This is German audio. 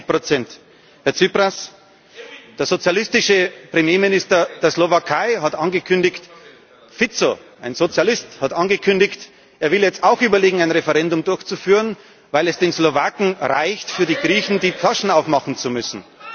61 Herr Tsipras, der sozialistische Premierminister der Slowakei Fico, ein Sozialist hat angekündigt, er will jetzt auch überlegen, ein Referendum durchzuführen, weil es den Slowaken reicht, für die Griechen die Taschen aufmachen zu müssen.